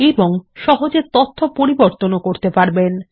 এবং তথ্য সহজে পরিবর্তনও করতে পারেন